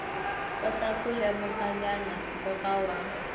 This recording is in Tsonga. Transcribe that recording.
kota ku lemukanyana nkoka wa